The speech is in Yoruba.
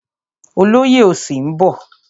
Olóyè òsì ń bọ̀.